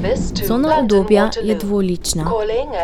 Cona udobja je dvolična.